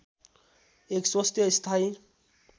एक स्वस्थ स्थायी